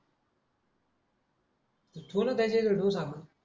दोन काहीतरी भेटून सांग